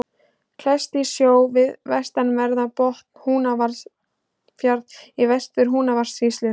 Klettur í sjó við vestanverðan botn Húnafjarðar í Vestur-Húnavatnssýslu.